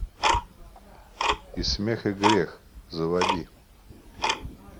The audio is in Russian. и смех и грех заводи